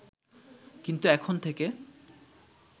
কিন্তু এখন থেকে